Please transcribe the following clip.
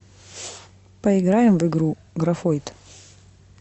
поиграем в игру графойд